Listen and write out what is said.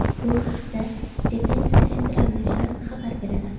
Bu haqda Defensa Central nashri xabar beradi .